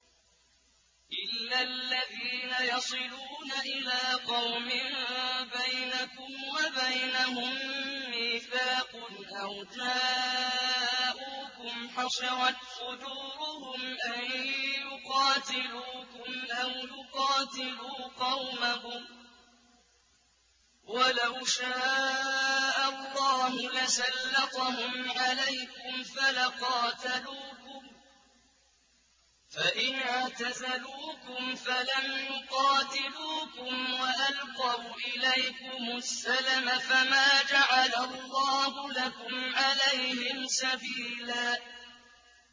إِلَّا الَّذِينَ يَصِلُونَ إِلَىٰ قَوْمٍ بَيْنَكُمْ وَبَيْنَهُم مِّيثَاقٌ أَوْ جَاءُوكُمْ حَصِرَتْ صُدُورُهُمْ أَن يُقَاتِلُوكُمْ أَوْ يُقَاتِلُوا قَوْمَهُمْ ۚ وَلَوْ شَاءَ اللَّهُ لَسَلَّطَهُمْ عَلَيْكُمْ فَلَقَاتَلُوكُمْ ۚ فَإِنِ اعْتَزَلُوكُمْ فَلَمْ يُقَاتِلُوكُمْ وَأَلْقَوْا إِلَيْكُمُ السَّلَمَ فَمَا جَعَلَ اللَّهُ لَكُمْ عَلَيْهِمْ سَبِيلًا